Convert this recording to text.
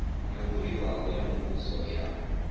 yo buliwaho ya muvhuso ya